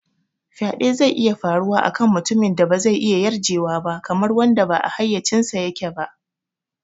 Faɗe zai iya faruwa a kan mutumin da ba zai iya yarjewa ba, kamar wanda ba a hayyacinsa yake ba.